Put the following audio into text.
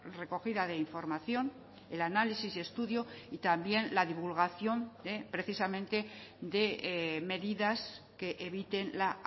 recogida de información el análisis y estudio y también la divulgación precisamente de medidas que eviten la